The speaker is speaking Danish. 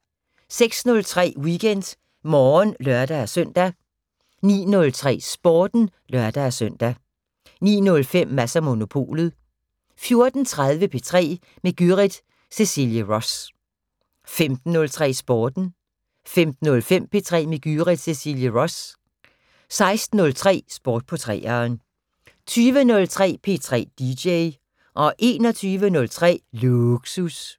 06:03: WeekendMorgen (lør-søn) 09:03: Sporten (lør-søn) 09:05: Mads & Monopolet 14:03: P3 med Gyrith Cecilie Ross 15:03: Sporten 15:05: P3 med Gyrith Cecilie Ross 16:03: Sport på 3'eren 20:03: P3 DJ 21:03: Lågsus